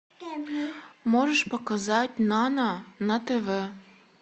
можешь показать нано на тв